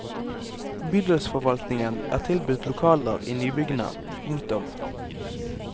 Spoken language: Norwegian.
Bydelsforvaltningen er tilbudt lokaler i nybyggene. punktum